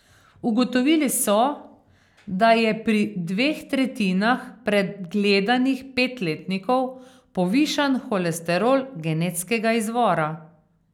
Ugotovili so, da je pri dveh tretjinah pregledanih petletnikov povišan holesterol genetskega izvora.